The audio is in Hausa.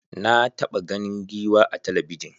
Na taɓa ganin giwa a talabijin.